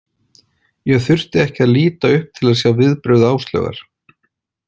Ég þurfti ekki að líta upp til að sjá viðbrögð Áslaugar.